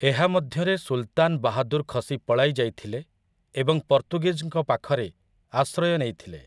ଏହାମଧ୍ୟରେ ସୁଲତାନ ବାହାଦୁର ଖସି ପଳାଇଯାଇଥିଲେ ଏବଂ ପର୍ତ୍ତୁଗୀଜ୍‌ଙ୍କ ପାଖରେ ଆଶ୍ରୟ ନେଇଥିଲେ ।